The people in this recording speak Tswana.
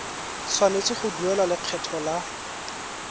tshwanetse go duela lekgetho la